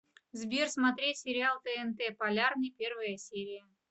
сбер смотреть сериал тнт полярный первая серия